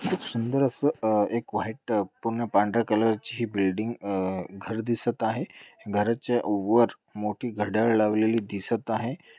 खूप सुंदर असं अह एक व्हाइट पूर्ण पांढर्‍या कलर ची ही बिल्डिंग आ घर दिसत आहे घरच्या वर मोठी घड्याळ लावलेली दिसत आहे.